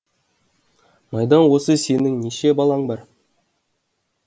майдан осы сенің неше балаң бар